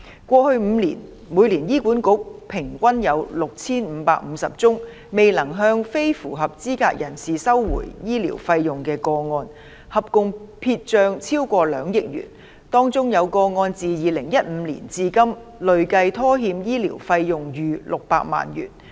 過去5年，每年醫院管理局平均有6550宗未能向非符合資格人士收回醫療費用的個案，合共撇帳超過兩億元；當中有個案自2015年至今累計拖欠醫療費用逾600萬元。